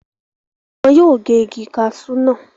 wọn yóò gé Igi kasú náà